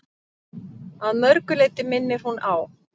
Að mörgu leyti minnir hún á